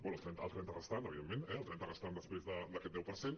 bé el trenta restant evidentment el trenta restant després d’aquest deu per cent